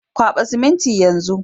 Kwaba siminti yan zun.